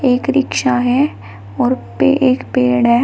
एक रिक्शा है और पे एक पेड़ है।